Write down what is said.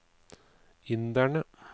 inderne